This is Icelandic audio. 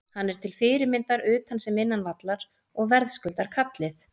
Hann er til fyrirmyndar utan sem innan vallar og verðskuldar kallið.